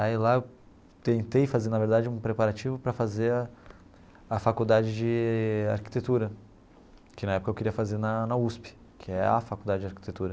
Aí lá eu tentei fazer, na verdade, um preparativo para fazer a a faculdade de arquitetura, que na época eu queria fazer na na USP, que é a faculdade de arquitetura.